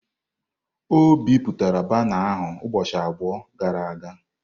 O bipụtara bana ahu ụbọchị abụọ gara aga.